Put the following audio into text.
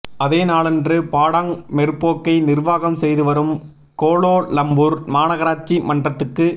அதே நாளன்று பாடாங் மெர்போக்கை நிர்வாகம் செய்து வரும் கோலாலம்பூர் மாநகராட்சி மன்றத்துக்கு